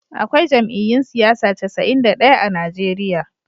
Akwai jam'iyyun siyasa casa'in da daya a Najeriya